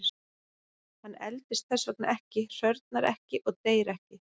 Hann eldist þess vegna ekki, hrörnar ekki og deyr ekki.